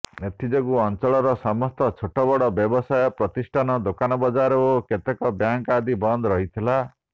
ଏଥିଯୋଗୁଁ ଅଞ୍ଚଳର ସମସ୍ତ ଛୋଟବଡ ବ୍ୟବସାୟ ପ୍ରତିଷ୍ଠାନ ଦୋକାନବଜାର ଓ କେତେକ ବ୍ୟାଙ୍କ ଆଦି ବନ୍ଦ ରହିଥିଲା